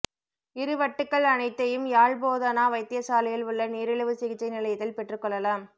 இறுவட்டுக்கள் அனைத்தையும் யாழ் போதனா வைத்தியசாலையில் உள்ள நீரிழிவு சிகிச்சை நிலையத்தில் பெற்றுக்கொள்ளலாம்